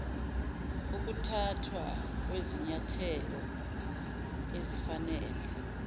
ukuthathwa kwezinyathelo ezifanele